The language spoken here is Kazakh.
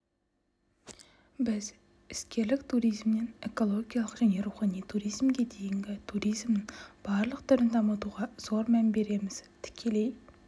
біз іскерлік туризмнен экологиялық және рухани туризмге дейінгі туризмнің барлық түрін дамытуға зор мән береміз тікелей